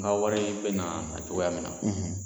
N ka wari bɛ na nacogoya min na.